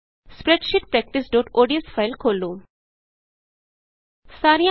spreadsheet practice ODS spreadsheet practice ODS file ਖੋਲ੍ਹੋ